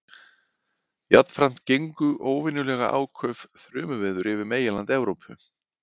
Jafnframt gengu óvenjulega áköf þrumuveður yfir meginland Evrópu.